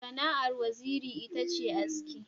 Sana'ar Waziri ita ce aski.